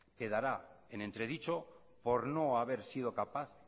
quedará en entredicho por no haber sido capaz